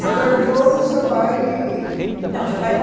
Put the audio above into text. Você teve todo o seu pai, não meu pai